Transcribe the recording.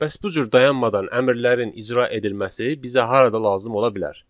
Bəs bu cür dayanmadan əmrlərin icra edilməsi bizə harada lazım ola bilər?